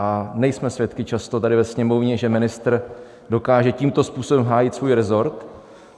A nejsme svědky často tady ve Sněmovně, že ministr dokáže tímto způsobem hájit svůj resort.